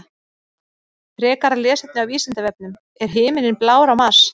Frekara lesefni á Vísindavefnum: Er himinninn blár á Mars?